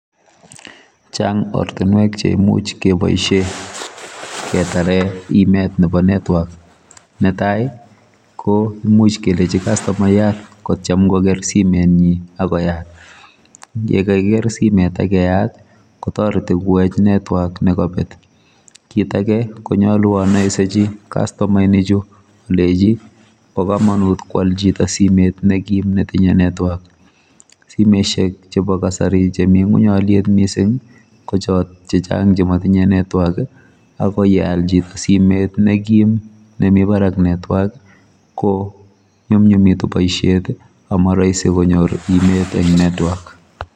Chang ortinwek cheimuch keboisie ketare imetab network netai komuch kelech kastomayat kotyem koker simetnyi akoyat yekakoker simet akoyat kotoreti kowech network nekabet kit ake konyalu anaisechi kastomaechu alechi bokomonut koal chito simet ne kim netinye network simesiek chebo kasari chemi ngony oliet kochot chematinye network akoyeal chito simet nekim nemi barak network konyumnyumitu boisiet amarahisi konyor imet eng network